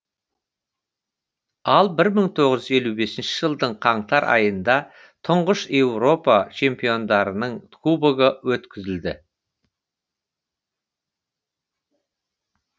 ал бір мың тоғыз жүз елу бесінші жылдың қаңтар айында тұңғыш еуропа чемпиондарының кубогы өткізілді